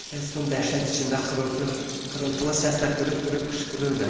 Herston dəhşət içində xırıltılı səslə qırıq-qırıq qışqırırdı.